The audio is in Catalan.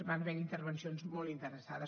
van haver hi intervencions molt interessades